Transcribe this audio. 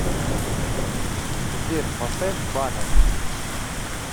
сбер поставь банев